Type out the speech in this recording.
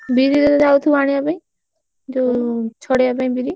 ବିରି ଯାଉଥିବୁ ଆଣିବା ପାଇଁ? ଯୋଉ ଛଡେଇବା ପାଇଁ ବିରି?